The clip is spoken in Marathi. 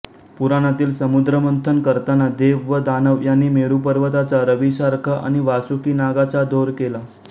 पुराणातील समुद्रमंथन करताना देव व दानव यांनी मेरू पर्वताचा रवीसारखा आणि वासुकी नागाचा दोर केला